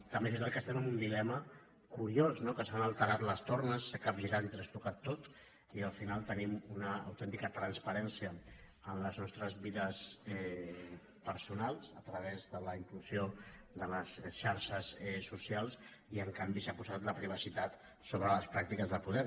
també és veritat que estem en un dilema curiós no que s’han alterat les tornes s’ha capgirat i trastocat tot i al final tenim una autèntica transparència en les nostres vides personals a través de la implosió de les xarxes socials i en canvi s’ha posat la privacitat sobre les pràctiques del poder